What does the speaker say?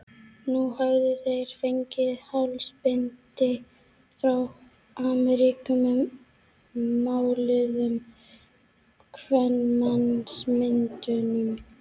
Nú höfðu þeir fengið hálsbindi frá Ameríku með máluðum kvenmannsmyndum.